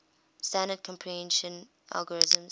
standard compression algorithms